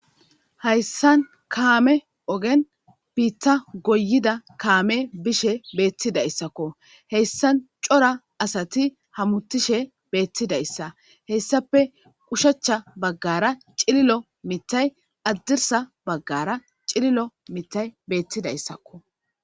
Hayssan kaame ogen piita goyida kaame bishe beettidayssakko heyssan cora asati hamutishe beettidayssa heyssape qushacha baggara cililo mitay addirsa baggara cililo mitay beettidayssakko.